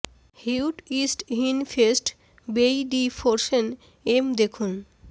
হিউট ইস্ট ইিন ফেস্ট বেই ডি ফ্রোর্সেন এম দেখুন